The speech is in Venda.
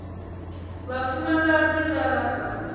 vhafumakadzi vha vha vha sa